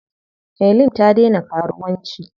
Helen ta daina karuwanci.